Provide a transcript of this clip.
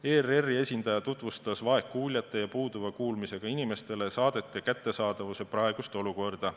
ERR-i esindaja tutvustas vaegkuuljatele ja puuduva kuulmisega inimestele saadete kättesaadavuse praegust olukorda.